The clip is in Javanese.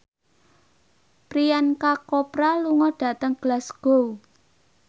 Priyanka Chopra lunga dhateng Glasgow